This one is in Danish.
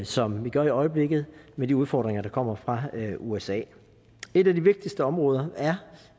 som vi gør i øjeblikket med de udfordringer der kommer fra usa et af de vigtigste områder